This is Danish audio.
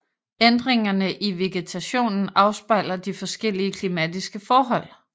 Ændringerne i vegetationen afspejler de forskellige klimatiske forhold